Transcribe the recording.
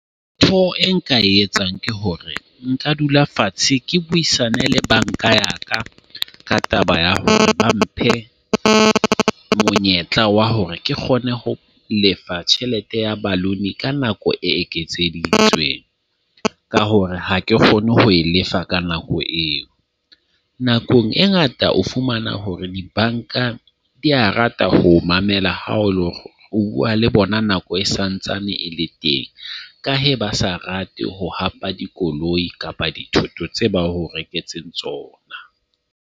Ntho e nka e etsang ke hore nka dula fatshe ke buisane le banka ya ka ka taba ya hore ba mphe monyetla wa hore ke kgone ho lefa tjhelete ya balloon ka nako e eketseditsweng. Ka hore ha ke kgone ho e lefa ka nako eo . Nakong e ngata o fumana hore dibanka di a rate ho mamela ha o ho bua le bona Nako e santsane e le teng. Ka he, ba sa rate ho hapa dikoloi kapa dithoto tsa ba o reketseng tsona.